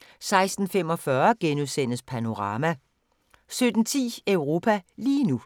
* 16:45: Panorama * 17:10: Europa lige nu